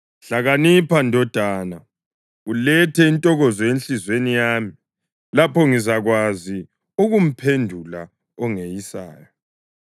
Hlakanipha, ndodana, ulethe intokozo enhliziyweni yami; lapho ngizakwazi ukumphendula ongeyisayo.